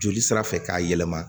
Joli sira fɛ k'a yɛlɛma